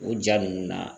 O ja ninnu na